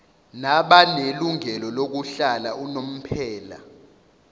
nabanelungelo lokuhlala unomphela